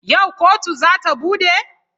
Yau kotu za ta bude?